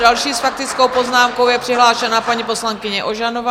Další s faktickou poznámkou je přihlášena paní poslankyně Ožanová.